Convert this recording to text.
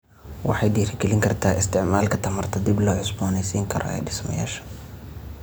Waxay dhiirigelin kartaa isticmaalka tamarta dib loo cusboonaysiin karo ee dhismayaasha.